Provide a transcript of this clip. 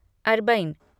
Arbaeen